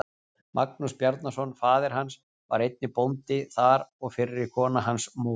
Magnús Bjarnason, faðir hans, var einnig bóndi þar og fyrri kona hans, móðir